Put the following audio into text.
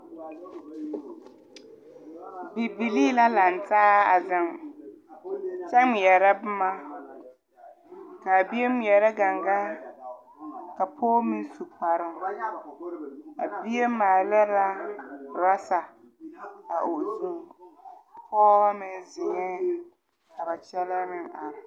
Bibilii la langtaa a zeŋ kyɛ ngmɛɛrɛ bomma kaa bie ngmɛɛrɛ gangaa ka pɔɔ meŋ su kparoo a bie maala la rasa o zuŋ pɔɔbɔ meŋ zeŋɛɛ ka ba kyɛlɛɛ meŋ are.